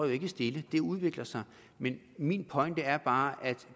stille det udvikler sig men min pointe er bare at